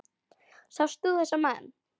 Sást þú þessa menn?